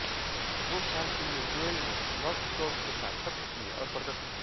दो साल के लिए जोएल ने लौस्ट सोल्स के साथ सत्र किये और प्रदर्शन किया